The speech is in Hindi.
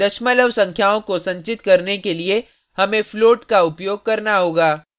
दशमलव संख्याओं को संचित करने के लिए हमें float का उपयोग करना होगा